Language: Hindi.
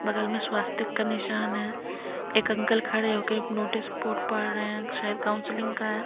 बगल में स्वास्तिक का निशान है एक अंकल खड़े होके नोटिस बोर्ड पढ़ रहे हैं शायद काउंसलिंग का है।